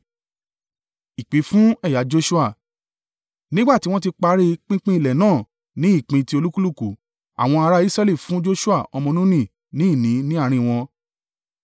Nígbà tí wọ́n ti parí pínpín ilẹ̀ náà ní ìpín ti olúkúlùkù, àwọn ará Israẹli fún Joṣua ọmọ Nuni ní ìní ní àárín wọn,